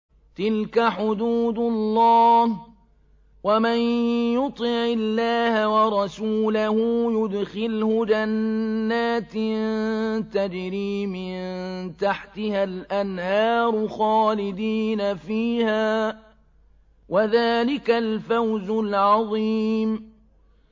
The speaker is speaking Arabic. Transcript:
تِلْكَ حُدُودُ اللَّهِ ۚ وَمَن يُطِعِ اللَّهَ وَرَسُولَهُ يُدْخِلْهُ جَنَّاتٍ تَجْرِي مِن تَحْتِهَا الْأَنْهَارُ خَالِدِينَ فِيهَا ۚ وَذَٰلِكَ الْفَوْزُ الْعَظِيمُ